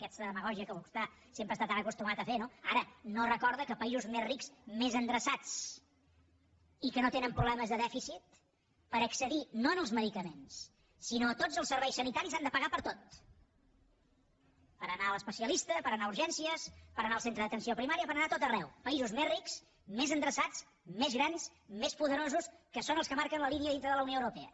aquesta demagògia que vostè sempre està tan acostumat a fer no ara no recorda que països més rics més endreçats i que no tenen problemes de dèficit per accedir no als medicaments sinó a tots els serveis sanitaris han de pagar per tot per anar a l’especialista per anar a urgències per anar al centre d’atenció primària per anar a tot arreu països més rics més endreçats més grans més poderosos que són els marquen la línia dintre de la unió europea